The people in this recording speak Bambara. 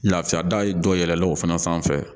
Lafiya dayɛlɛ o fana sanfɛ